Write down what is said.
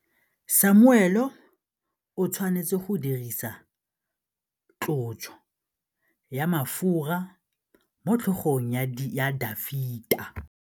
Samuele o tshwanetse go dirisa tlotsô ya mafura motlhôgong ya Dafita.